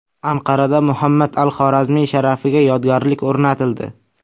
Anqarada Muhammad al-Xorazmiy sharafiga yodgorlik o‘rnatildi.